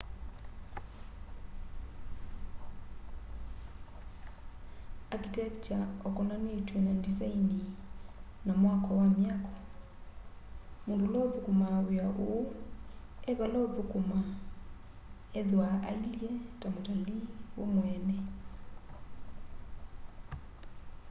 architecture ukonanitw'e na ndisaini na mwako wa myako mundu ula uthukumaa wia uu evala ukuthukuma ethwaa eilye ta mutalii we mweene